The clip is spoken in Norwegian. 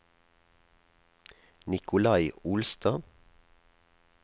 Nikolai Olstad